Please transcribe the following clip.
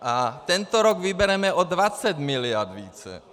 A tento rok vybereme o 20 mld. více.